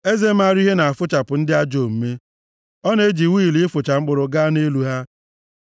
Eze maara ihe na-afụchapụ ndị ajọ omume, ọ na-eji wịịlu ịfụcha mkpụrụ gaa nʼelu ha.